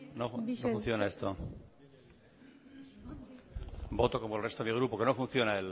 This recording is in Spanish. no funciona esto voto como el resto de mi grupo que no funciona